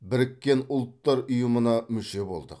біріккен ұлттар ұйымына мүше болдық